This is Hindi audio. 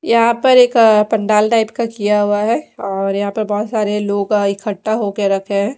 यहां पर एक अ पंडाल टाइप का किया हुआ है और यहां पे बहोत सारे लोग अ का इकट्ठा होकर रखें हैं।